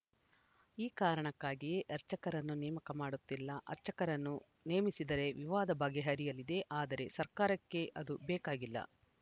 ಈ ಕಾರಣಕ್ಕಾಗಿಯೇ ಅರ್ಚಕರನ್ನು ನೇಮಕ ಮಾಡುತ್ತಿಲ್ಲ ಅರ್ಚಕರನ್ನು ನೇಮಿಸಿದರೆ ವಿವಾದ ಬಗೆಹರಿಯಲಿದೆ ಆದರೆ ಸರ್ಕಾರಕ್ಕೆ ಅದು ಬೇಕಾಗಿಲ್ಲ